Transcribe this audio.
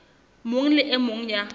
mong le e mong ya